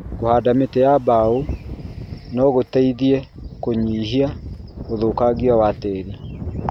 Kũhanda mĩtĩ ya mbao no gũteithie kũnyihia ũthũkangia wa tĩĩri.